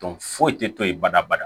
foyi tɛ to yen badabada